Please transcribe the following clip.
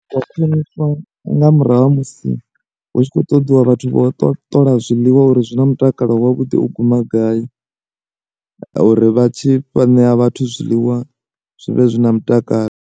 Wa khwiniswa nga murahu ha musi hu tshi khou ṱoḓiwa vhathu vho to ṱola zwiḽiwa uri zwi na mutakalo wavhuḓi u guma gai, uri vhatshi fha ṋea vhathu zwiḽiwa, zwi vhe zwi na mutakalo.